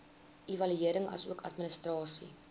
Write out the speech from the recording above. evaluering asook administrasie